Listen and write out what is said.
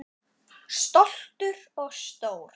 Tiginn svanni krónu ber.